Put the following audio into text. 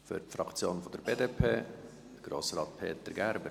Für die Fraktion der BDP, Grossrat Peter Gerber.